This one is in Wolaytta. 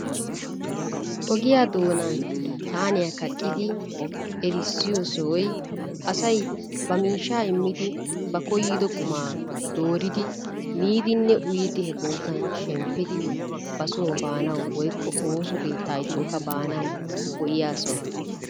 Ogiya doonaani saaniya kaqqidi erissiyo sohoy asay ba miishshaa immidi ba koyyiddo qummaa dooridi miidiinne uyidi he bootan shemppidi ba soo baanawu woykko ooso keetta gidikkokka go'iya sohuwa.